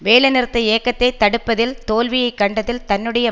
வேலைநிறுத்த இயக்கத்தை தடுப்பதில் தோல்வியை கண்டதில் தன்னுடைய